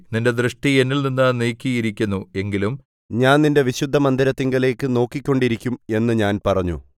നിന്റെ ദൃഷ്ടി എന്നിൽ നിന്നു നീക്കിയിരിക്കുന്നു എങ്കിലും ഞാൻ നിന്റെ വിശുദ്ധമന്ദിരത്തിങ്കലേക്കു നോക്കിക്കൊണ്ടിരിക്കും എന്നു ഞാൻ പറഞ്ഞു